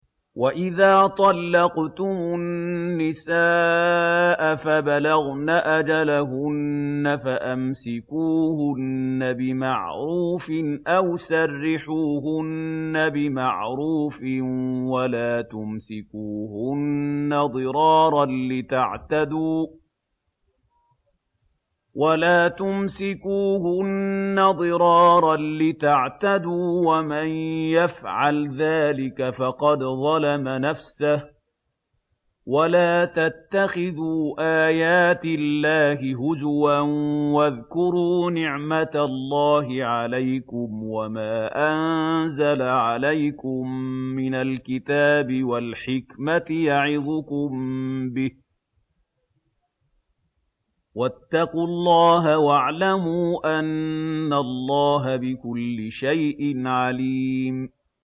وَإِذَا طَلَّقْتُمُ النِّسَاءَ فَبَلَغْنَ أَجَلَهُنَّ فَأَمْسِكُوهُنَّ بِمَعْرُوفٍ أَوْ سَرِّحُوهُنَّ بِمَعْرُوفٍ ۚ وَلَا تُمْسِكُوهُنَّ ضِرَارًا لِّتَعْتَدُوا ۚ وَمَن يَفْعَلْ ذَٰلِكَ فَقَدْ ظَلَمَ نَفْسَهُ ۚ وَلَا تَتَّخِذُوا آيَاتِ اللَّهِ هُزُوًا ۚ وَاذْكُرُوا نِعْمَتَ اللَّهِ عَلَيْكُمْ وَمَا أَنزَلَ عَلَيْكُم مِّنَ الْكِتَابِ وَالْحِكْمَةِ يَعِظُكُم بِهِ ۚ وَاتَّقُوا اللَّهَ وَاعْلَمُوا أَنَّ اللَّهَ بِكُلِّ شَيْءٍ عَلِيمٌ